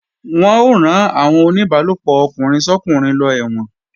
Wọ́n ó rán àwọn oníbálòpọ̀ ọkùnrin sọ́kùnrin lọ ẹ̀wọ̀n